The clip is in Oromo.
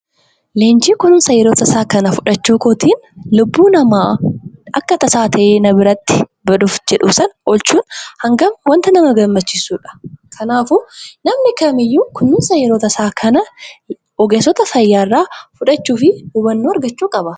Leenjii kununsa tasaa kana fudhachuu kootiin lubbuu namaa akka tasaa ta'e nama biratti sana oolchuuf hangam waanta nama gammachiisudha! Kanaafuu namni kamiiyyuu kunuunsa yeroo tasaa kana ogeessota fayyaa irraa fudhachuu fi hubannoo argachuu qaba.